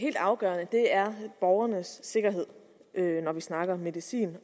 helt afgørende er borgernes sikkerhed når vi taler om medicin